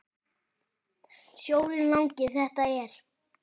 Sjórinn langi þetta er.